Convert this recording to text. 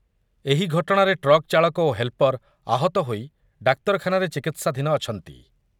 ଏହି ଘଟଣାରେ ଟ୍ରକ୍ ଚାଳକ ଓ ହେଲ୍ପର ଆହତ ହୋଇ ଡାକ୍ତରଖାନାରେ ଚିକିତ୍ସାଧୀନ ଅଛନ୍ତି